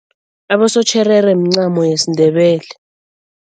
Abosotjherere mncamo yesiNdebele.